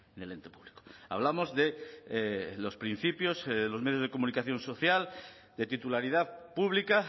del ente público hablamos de los principios los medios de comunicación social de titularidad pública